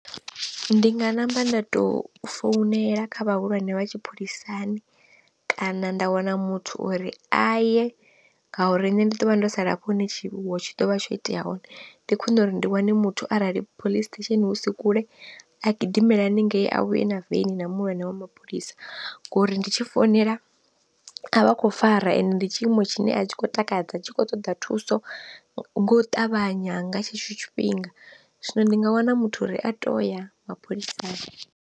Ndi nga namba nda tou founela kha vhahulwane vha tshipholisani, kana nda wana muthu uri a ye ngauri nne ndi ḓo vha ndo sala hafho hune wa tshi dovha tsho itea hone ndi khwine uri ndi wane muthu arali police station hu si kule a gidimele haningei a vhuye na veni na muhulwane wa mapholisa, ngori ndi tshi founela a vha khou fara ende ndi tshiimo tshine a tshi khou takadza tshi khou ṱoḓa thuso nga u ṱavhanya nga tshetsho tshifhinga. Zwino ndi nga wana muthu uri a to ya mapholisani.